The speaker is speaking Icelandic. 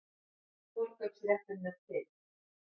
Forkaupsrétturinn er til.